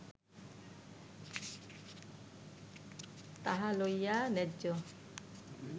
তাহা লইয়া ন্যায্য